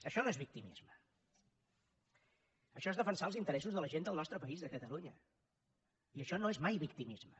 això no és victimisme això és defensar els interessos de la gent del nostre país de catalunya i això no és mai victimisme